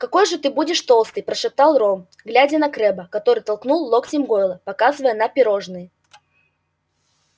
какой же ты будешь толстый прошептал рон глядя на крэбба который толкнул локтем гойла показывая на пирожные